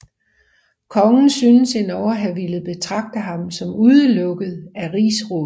Kongen synes endog at have villet betragte ham som udelukket af rigsrådet